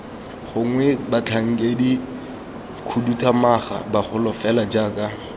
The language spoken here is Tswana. gongwe batlhankedikhuduthamaga bagolo fela jaaka